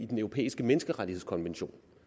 den europæiske menneskerettighedskonvention